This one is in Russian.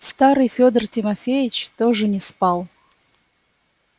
старый федор тимофеевич тоже не спал